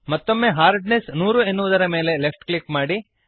ಮತ್ತೊಮ್ಮೆ ಹಾರ್ಡ್ನೆಸ್ 100 ಎನ್ನುವುದರ ಮೇಲೆ ಲೆಫ್ಟ್ ಕ್ಲಿಕ್ ಮಾಡಿರಿ